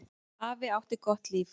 Afi átti gott líf.